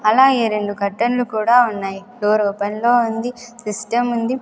అలాగే రెండు కర్టెన్లు కూడా ఉన్నాయి డోర్ ఓపెన్ లో ఉంది సిస్టం ఉంది.